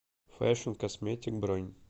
фэшн косметик бронь